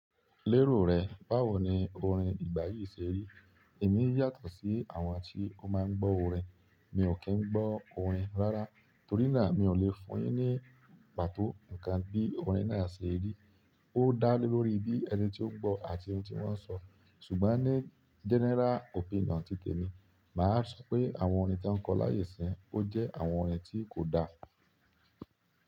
Lérò rẹ, báwo ni orin ìgbà yìí ṣe rí? Èmi yàtọ̀ sí àwọn tí ó máa ń gbọ́ orin. Mi ò kí ń gbọ́ orin rárá torí náà mi ò lè fún yin ní pàtó ǹkan bí orin náà ṣe rí. Ó dá lé lórí bí ẹni tí ó gbọ́ àti ohun tí wọ́n sọ. Ṣùgbọ́n ní general opinion títè mi, màá sọ pé àwọn orin tí wọ́n kọ láyé ìsín, ó jẹ́ àwọn orin tí kò da.